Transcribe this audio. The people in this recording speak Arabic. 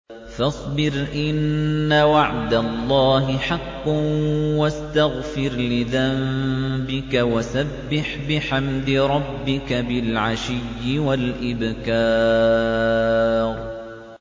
فَاصْبِرْ إِنَّ وَعْدَ اللَّهِ حَقٌّ وَاسْتَغْفِرْ لِذَنبِكَ وَسَبِّحْ بِحَمْدِ رَبِّكَ بِالْعَشِيِّ وَالْإِبْكَارِ